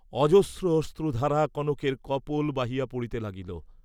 অজস্র অশ্রুধারা কনকের কপোল বাহিয়া পড়িতে লাগিল।